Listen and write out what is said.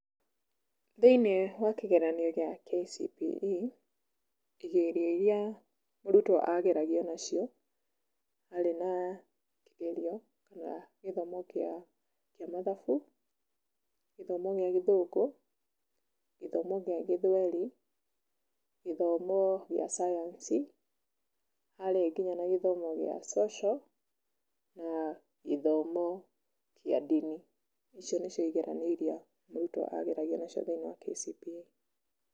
Thĩiniĩ wa kĩgeranio gĩa KCPE, igerio irĩa mũrutwo ageragio nacio, harĩ na kĩgerio kana gĩthomo kĩa mathabu, gĩthomo kĩa gĩthũngũ, gĩthomo gĩa gĩthweri, gĩthomo gĩa cayanici, harĩ nginya gĩthomo cia social na gĩthomo kĩa ndini, icio nĩcio igeranio irĩa mũrutwo ageragio nacio thĩiniĩ wa KCPE.